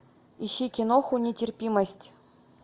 ищи киноху нетерпимость